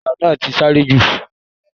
Ọlọ́kadà náà ti sáré jù.